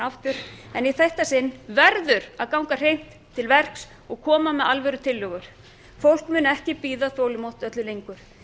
aftur en í þetta sinn verður að ganga hreint til verks og koma með alvörutillögur fólk mun ekki bíða þolinmótt öllu lengur